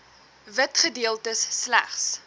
wit gedeeltes slegs